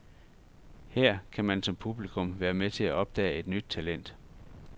Her kan man som publikum være med til at opdage et nyt talent.